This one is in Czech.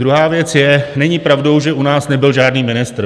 Druhá věc je - není pravdou, že u nás nebyl žádný ministr.